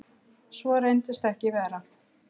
Svo reyndist ekki vera.